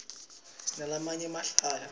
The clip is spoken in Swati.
sinalamanye emahlaya